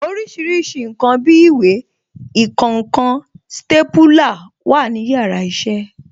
Orísìírísìí ǹkan bí ìwé, ìkọǹkan, stépúlà wà ní yàrá iṣẹ́